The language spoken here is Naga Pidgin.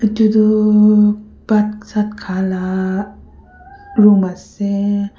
iduduuu bhaat saat khala room ase.